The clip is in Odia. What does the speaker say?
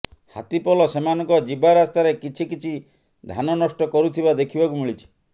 ହାତୀ ପଲ ସେମାନଙ୍କ ଯିବା ରାସ୍ତାରେ କିଛି କିଛି ଧାନ ନଷ୍ଟ କରୁଥିବା ଦେଖିବାକୁ ମିଳିଛି